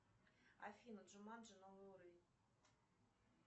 афина джуманджи новый уровень